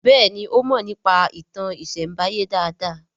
Béèni o mo nípa ìtàn isembaye dá dá.